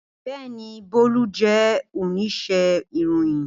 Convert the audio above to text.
Bẹẹni, Bolu jẹ onise iroyin.